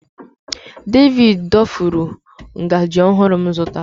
David dofuru ngaji ọhụrụ m zụtara.